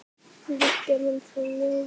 Við gerðum það mjög vel.